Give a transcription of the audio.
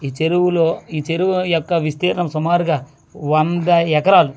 ఈ చెరువులో ఈ చెరువు యొక్క విస్తీర్ణం సుమారుగా వంద ఎకరాలు--